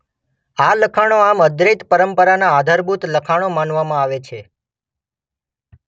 આ લખાણો આમ અદ્વૈત પરંપરાના આધારભૂત લખાણો માનવામાં આવે છે.